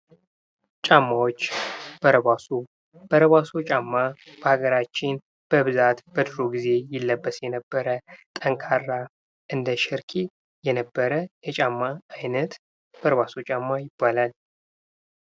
ጫማዎች በረባሶ በረባሶ ጫማ በሀገራችን በብዛት በድሮ ጊዜ ይለበስ የነበረ ጠንካራ እንደ ሸርኪ ነበረ የጫማ አይነት በረባሶ ጫማ ይባላል።